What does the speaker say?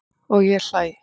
Og ég hlæ.